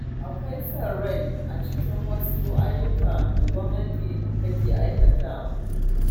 Akwai son rai a cikin wasu ayyukan da gwamnati take aiwatarwa.